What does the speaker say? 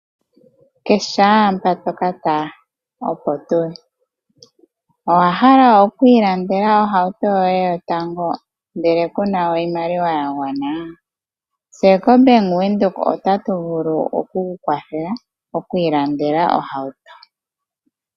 Keshe mpa toka tala opo tuli. Owa hala okwi ilandela ohauto yoye yotango ndele kuna oshimaliwa ya gwana?, tse ko Bank Windhoek otatu vulu oku ku kwathela okwi ilandela ohauto